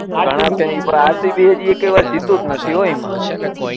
હા કઈ પણ આરસીબી એકેય વાર જીત્યું જ નઈ એમાં